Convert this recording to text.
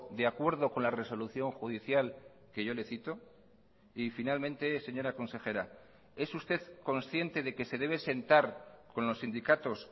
de acuerdo con la resolución judicial que yo le cito y finalmente señora consejera es usted consciente de que se debe sentar con los sindicatos